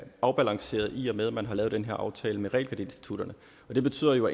afbalanceret i og med at man har lavet den her aftale med realkreditinstitutterne og det betyder jo